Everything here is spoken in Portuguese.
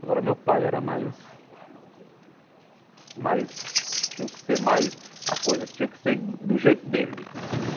Agora, meu pai era mais mais... tinha que ser mais... a coisa tinha que ser do jeito dele.